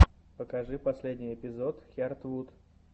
покажи последний эпизод хиартвуд